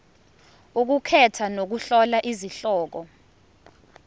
ukukhetha nokuhlola izihloko